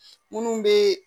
Munnu be